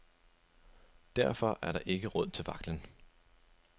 Derfor er der ikke råd til vaklen.